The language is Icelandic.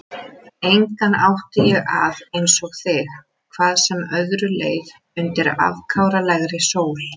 Engan átti ég að einsog þig, hvað sem öðru leið undir afkáralegri sól.